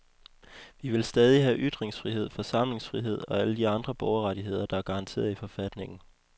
Vi vil stadig have ytringsfrihed, forsamlingsfrihed og alle de andre borgerrettigheder, der er garanteret i forfatningen.